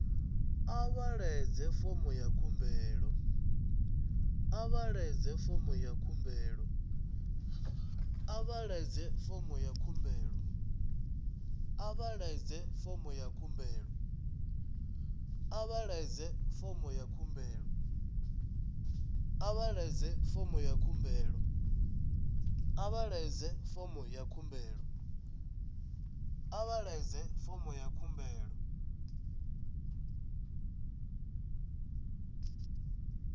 a vha ḓadzi fomo ya khumbelo